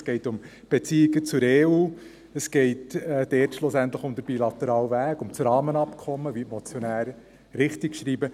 Es geht um die Beziehungen zur EU, es geht dort schliesslich um den bilateralen Weg, um das Rahmenabkommen, wie die Motionäre richtig schreiben.